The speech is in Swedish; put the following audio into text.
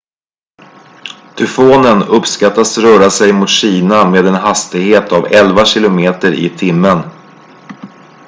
tyfonen uppskattas röra sig mot kina med en hastighet av elva kilometer i timmen